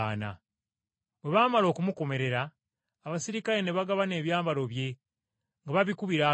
Bwe baamala okumukomerera, abaserikale ne bagabana ebyambalo bye nga babikubira akalulu.